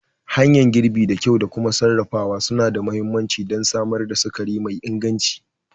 Hanyar girbi da kyau da kuma sarrafawa suna da mahimmanci don samar da sukari mai inganci.